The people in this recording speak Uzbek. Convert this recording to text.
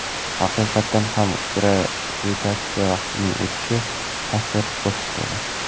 Haqiqatan ham gravitatsiya vaqtning o‘tishiga ta’sir ko‘rsatadi.